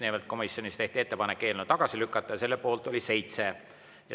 Nimelt, komisjonis tehti ettepanek eelnõu tagasi lükata ja selle poolt oli 7.